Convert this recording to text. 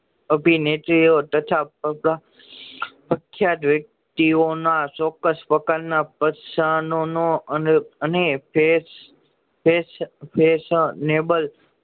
અભિનેત્રીઓ તથા પ્રખ્યાત વ્યક્તિઓ ના ચોક્કસ પ્રકાર ના પસાનાનો અને face face a face neighbour